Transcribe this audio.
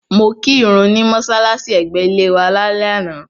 Mo kí ìrun ní mọ́ṣálàṣí ẹ̀gbẹ́ ilé wa lálẹ́ àná.